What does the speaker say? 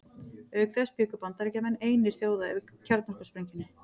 Auk þess bjuggu Bandaríkjamenn einir þjóða yfir kjarnorkusprengjunni.